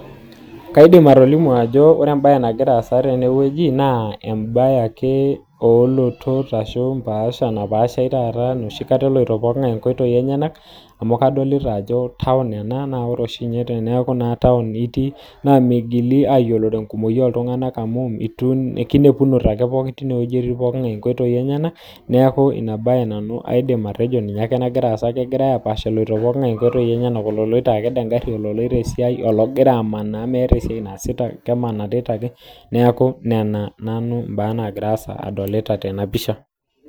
kadim atolimu ajo ilotot amuu kadolita iltunganak egira aapaasha ,kadolita sii ajo town ena amuu meeta oltungani ootayie haja olikae kegira ake aisarisar aapuo nkotoi enyanak iltunganak muj neeku inabaye nanu ajo ina nagira assa ololoito e siai, ololoito aked engari ologira ake amanaa